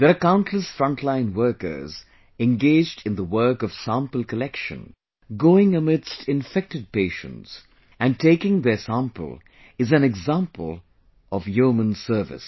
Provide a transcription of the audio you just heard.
There are countless frontline workers engaged in the work of sample collection, going amidst infected patients, and taking their sample is an example of yeoman service